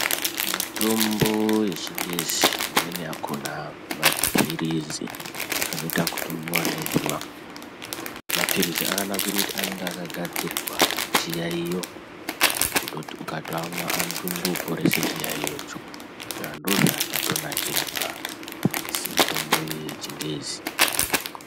Mitombo yechingezi imweni yakona mapirizi anoita kutomwiwa nemvura mapirizi akanakira kuti akagadzirirwa chiyayiyo kuti ukatomamwa anoporese chiyayiyo cho saka ndozvaakatonakira mapirizi mitombo yechingezi .